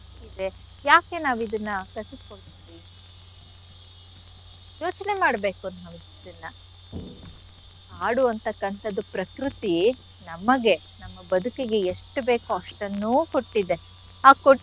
ಹಕ್ಕಿದೆ ಯಾಕೆ ನಾವಿದನ್ನ ಕಸಿದ್ಕೊಳ್ತಿದಿವಿ ಯೋಚ್ನೆ ಮಾಡ್ಬೇಕು ನಾವಿದನ್ನ. ಆಡುವಂಥಕ್ಕಂಥದ್ದು ಪ್ರಕೃತಿ ನಮಗೆ ನಮ್ಮ ಬದುಕಿಗೆ ಎಷ್ಟು ಬೇಕೋ ಅಷ್ಟನ್ನೂ ಕೊಟ್ಟಿದೆ ಆ ಕೊಟ್ಟಿ.